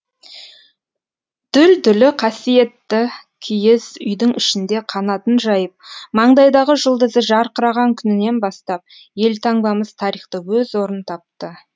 дүлдүлі қасиетті киіз үйдің ішінде қанатын жайып маңдайдағы жұлдызы жарқыраған күнінен бастап елтаңбамыз тарихта өз орын тапты